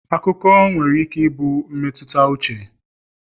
akụkọ nwere ike ịbụ mmetụta uche